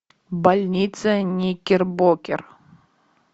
больница никербокер